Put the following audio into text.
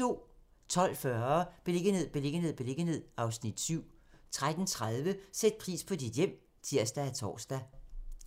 12:40: Beliggenhed, beliggenhed, beliggenhed (Afs. 7) 13:30: Sæt pris på dit hjem (tir og tor)